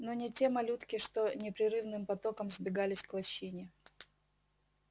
но не те малютки что непрерывным потоком сбегались к лощине